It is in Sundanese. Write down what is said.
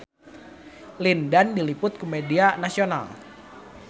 Lin Dan diliput ku media nasional